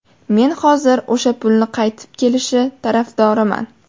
Men hozir o‘sha pulni qaytib kelishi tarafdoriman.